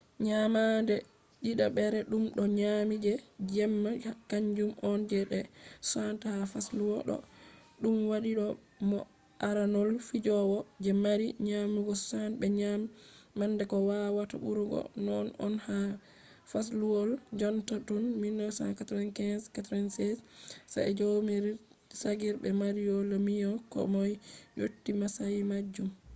nyamande didabre dum o nyami je jemma kanjum on je nde 60 ha fasluwol ɗo ɗum waɗi mo aranol fijowo je mari nyamugo 60 be nyamande ko wawata ɓurugo non on ha fasluwol jonta tun 1995-96 sa'e jaromir jagr be mario lemieux ko moy yotti masayi majum